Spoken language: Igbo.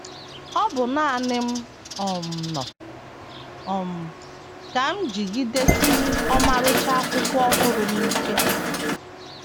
Ọ bụ nanị m um nọ um, ka m jigidesiri ọmarịcha akwụkwọ ọhụrụ m ike.